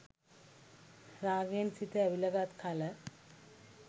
රාගයෙන් සිත ඇවිලගත් කල